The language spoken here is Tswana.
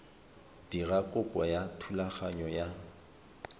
dira kopo ya thulaganyo ya